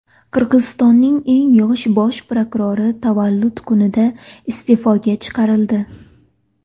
Qirg‘izistonning eng yosh bosh prokurori tavallud kunida iste’foga chiqarildi.